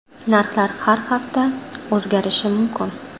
Narxlar har hafta o‘zgarishi mumkin.